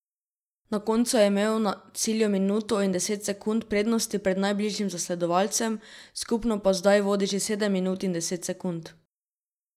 Na koncu je imel na cilju minuto in deset sekund prednosti pred najbližjim zasledovalcem, skupno pa zdaj vodi že sedem minut in deset sekund.